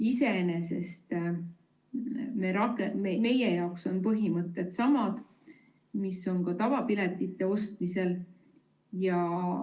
Iseenesest meie jaoks on põhimõtted samad, mis on ka tavapiletite ostmisel.